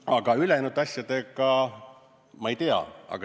Aga ülejäänud asjadega – ma ei tea.